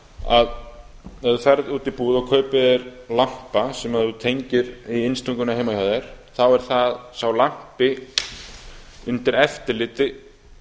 að ef þú ferð út í búð og kaupir þér lampa sem þú tengir í innstunguna heima hjá þér þá er það að sá lampi er undir eftirliti